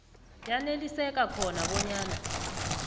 yaneliseka khona bonyana